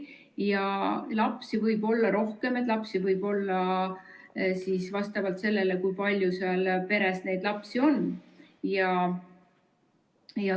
Ja lapsi võib olla rohkem, lapsi võib olla nii palju, kui palju seal peres neid lapsi on.